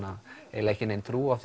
eiginlega ekki nein trú á